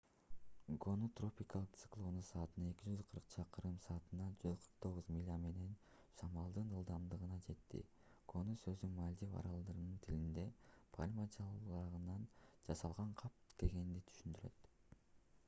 гону тропикалык циклону саатына 240 чакырым саатына 149 миля менен шамалдын ылдамдыгына жетти гону сөзү мальдив аралдарынын тилинде пальма жалбырагынан жасалган кап дегенди түшүндүрөт